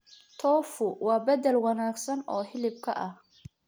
Tofu waa bedel wanaagsan oo hilibka ah.